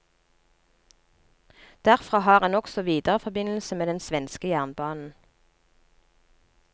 Derfra har en også videreforbindelse med den svenske jernbanen.